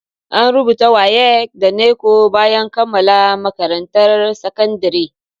An rubuta WAEC da NECO bayan kammala makarantar sakandire